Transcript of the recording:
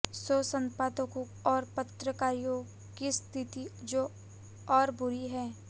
सो संपादकों और पत्रिकाओं की स्थिति तो और बुरी है